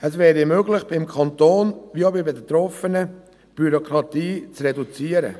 Es wäre möglich, beim Kanton wie auch bei den Betroffenen die Bürokratie zu reduzieren.